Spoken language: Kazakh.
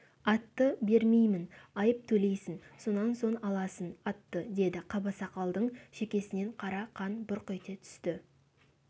атты бермеймін айып төлейсің сонан соң аласың атты деді қабасақалдың шекесінен қара қан бұрқ ете түсті